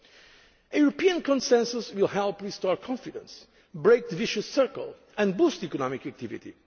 to borrow. A European consensus will help restore confidence, break the vicious circle and boost economic